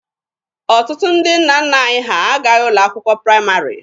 Ọtụtụ ndị nna nna anyị ha agaghị ụlọ akwụkwọ praịmarị.